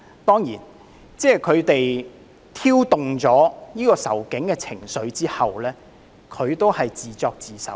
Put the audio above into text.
當然，他們在挑動仇警的情緒後，他們也只是自作自受。